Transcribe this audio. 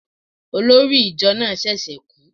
Olórí ìjọ náà ṣẹ̀ṣẹ̀ kú